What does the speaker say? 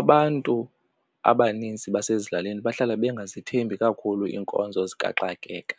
Abantu abanintsi basezilalini bahlala bangazithembi kakhulu iinkonzo zikaxakeka